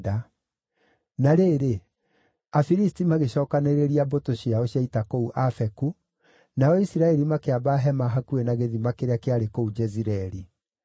Na rĩrĩ, Afilisti magĩcokanĩrĩria mbũtũ ciao cia ita kũu Afeku, nao Isiraeli makĩamba hema hakuhĩ na gĩthima kĩrĩa kĩarĩ kũu Jezireeli.